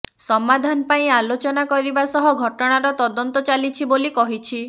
ସମାଧାନ ପାଇଁ ଆଲୋଚନା କରିବା ସହ ଘଟଣାର ତଦନ୍ତ ଚାଲିଛି ବୋଲି କହିଛି